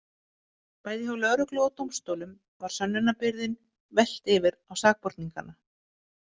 Bæði hjá lögreglu og dómstólum var sönnunarbyrðinni velt yfir á sakborningana.